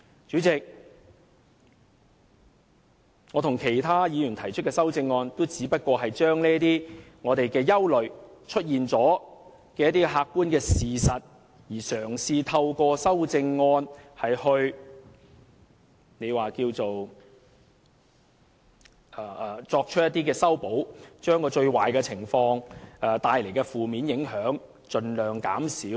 主席，我與其他議員提出的修正案，也只是因應我們的憂慮及已出現的客觀事實，嘗試透過修正案作出修補，以把最壞的情況及會帶來的負面影響盡量減少。